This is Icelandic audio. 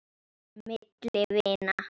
Milli vina.